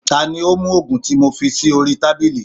Ta ni ó mú ògùn tí mo fi sí orí tábìlì?